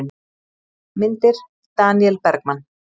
Myndir: Daníel Bergmann.